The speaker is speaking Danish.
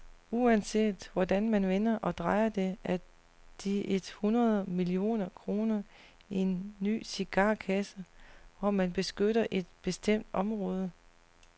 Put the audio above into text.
Uanset hvordan man vender og drejer det, er de et hundrede millioner kroner en ny cigarkasse, hvor man beskytter et bestemt område.